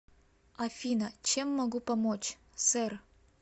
афина чем могу помочь сэр